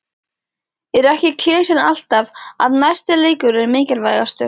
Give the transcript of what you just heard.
Er ekki klisjan alltaf að næsti leikur er mikilvægastur?